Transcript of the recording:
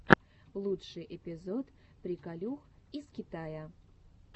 лучший эпизод приколюх из китая